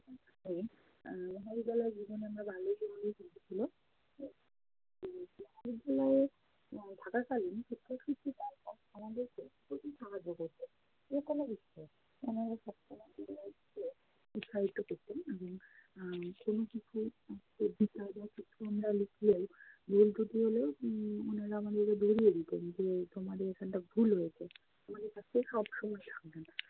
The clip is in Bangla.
ভুল ত্রুটি হলেও উম madam আমাদেরকে ধরিয়ে দিতেন, যে তোমাদের এখানটা ভুল হয়েছে।